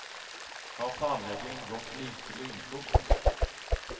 Har planleggingen gått like lynfort?